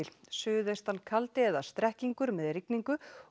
suðaustan kaldi eða strekkingur með rigningu